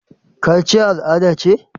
Kachiya al'ada ce?